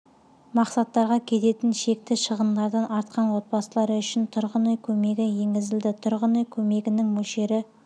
мақсаттарға кететін шекті шығындардан артқан отбасылары үшін тұрғын үй көмегі енгізілді тұрғын үй көмегінің мөлшері